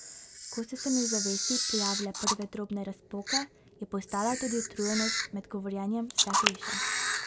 Ko so se mi v zavesti pojavile prve drobne razpoke, je postala tudi utrujenost med govorjenjem vse hujša.